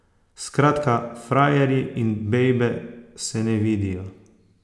Skratka, frajerji in bejbe se ne vidijo.